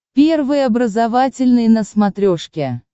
первый образовательный на смотрешке